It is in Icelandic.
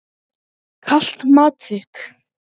Kalt mat þitt.